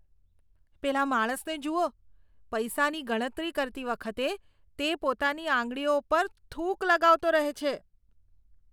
પેલા માણસને જુઓ. પૈસાની ગણતરી કરતી વખતે તે પોતાની આંગળીઓ પર થૂંક લગાવતો રહે છે.